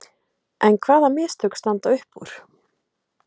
En hvaða mistök standa upp úr?